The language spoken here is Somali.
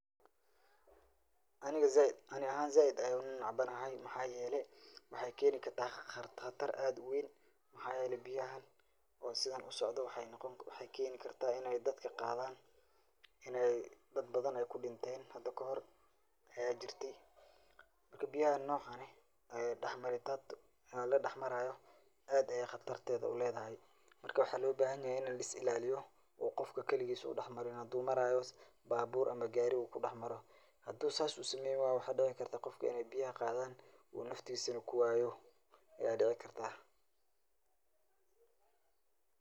Ani axan zaid ayan unacbanaxay, maxa yelee, maxay keni karta qatar adh uwen, waxaa yele biyaxan o sidhan usoco waxa keni karta inay dad badhan kudinten xada kaxor aya jirte, marka biyaxan nocan exx aya daxmare dad o ladaxmarayo adayay qatartedha ledhaxay, marka maaxa lobaxanyaxay in lislilaliyo gofka kiliqis u daxmarin xadhu marayo babur amaa gaari u kuduxmaro xadhu sas usamenywayo waxa dici karta gofka biyaxa qadhan u naftisana u kuwayoo aya dicikarta.